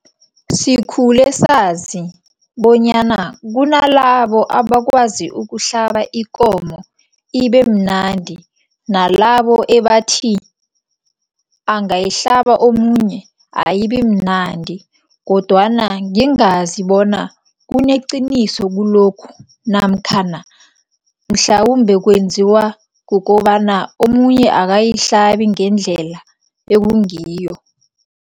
Sikhule sazi bonyana kunalabo abakwazi ukuhlaba ikomo ibemnandi, nalabo ebathi angayihlaba omunye ayibimnandi kodwana ngingazi bona kuneqiniso kulokhu namkhana mhlawumbe kwenziwa kukobana omunye akayihlabi ngendlela ekungiyo.